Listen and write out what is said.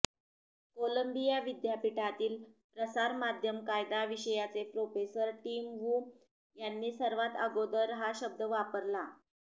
Colombia विद्यापीठातील प्रसारमाध्यम कायदा विषयाचे प्रोफेसर टिम वू यांनी सर्वात आगोदर हा शब्द वापरला